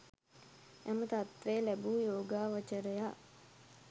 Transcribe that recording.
එම තත්ත්වය ලැබූ යෝගාවචරයා